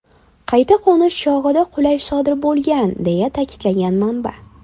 Qayta qo‘nish chog‘ida qulash sodir bo‘lgan”, deya ta’kidlagan manba.